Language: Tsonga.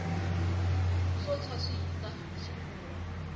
swo tshwa swi hisa xifura